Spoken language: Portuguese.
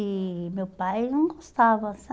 E meu pai não gostava,